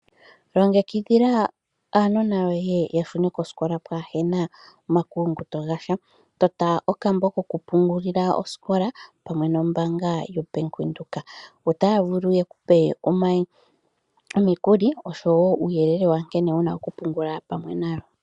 Longekidhila aanona yohe yashune kosikola pwaahena omakuyunguto gasha ,tota okambo kokupungulila osikola pamwe nombanga yobank Windhoek otaya vulu yekupe omikuli nosho woo uuyelele nkene wuna okupungula pamwe nayo.